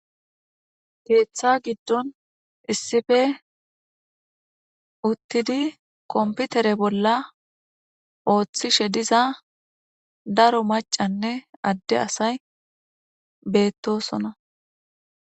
Keeththa giddon issife uttidi komputere bolla ooththishshe diza daro macanne adde asay beettosona